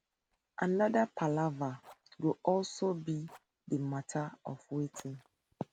anoda palava go also be di mata of wetin